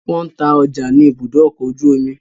Wọ́n ń ta ọjà nì ìbùdó ọkọ ojú omi